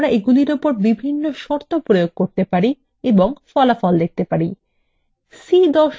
আমরা এগুলির উপর বিভিন্ন শর্ত প্রয়োগ করতে পারি এবং ফলাফল দেখতে পারি